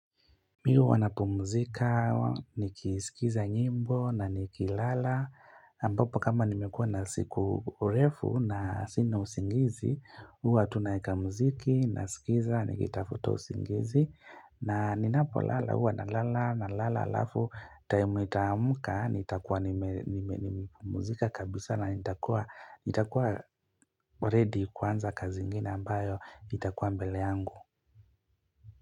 Mi huwa napumzika, nikiskiza nyimbo na nikilala, ambapo kama nimekuwa na siku urefu na sina usingizi, huwa tunaeka muziki, nasikiza, nikitafuta usingizi, na ninapolala huwa nalala nalala alafu, time nitaamka, nitakuwa nimepumuzika kabisa na nitakuwa ready kwanza kazi ingine ambayo nitakuwa mbele yangu.